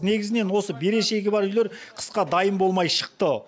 негізінен осы берешегі бар үйлер қысқа дайын болмай шықты